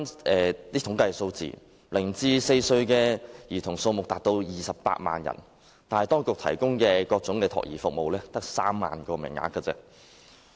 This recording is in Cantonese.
據統計，香港0歲至4歲兒童數目達到28萬人，但當局提供的各種託兒服務只有3萬個名額。